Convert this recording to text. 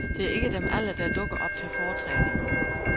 Det er ikke dem alle, der dukker op til fortræningen.